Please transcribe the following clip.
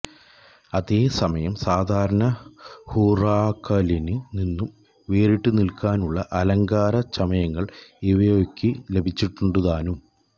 അതേസമയം സാധാരണ ഹുറാക്കാനില് നിന്നും വേറിട്ടുനില്ക്കാനുള്ള അലങ്കാര ചമയങ്ങള് ഇവോയ്ക്ക് ലഭിച്ചിട്ടുണ്ടുതാനും